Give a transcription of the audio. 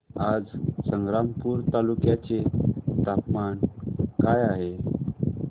आज संग्रामपूर तालुक्या चे तापमान काय आहे